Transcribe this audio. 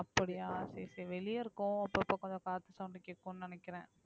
அப்படியா சரி சரி வெளிய இருக்கோம் அப்பப்ப கொஞ்சம் காத்து sound கேக்கும்னு நினைக்கிறேன்